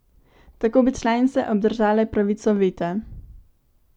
Tako bi članice obdržale pravico veta.